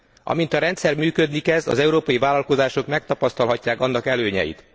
Amint a rendszer működni kezd, az európai vállalkozások megtapasztalhatják annak előnyeit.